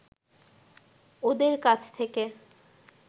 ওঁদের কাছ থেকে